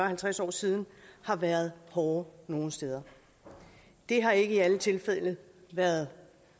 halvtreds år siden har været hårde nogle steder det har ikke i alle tilfælde været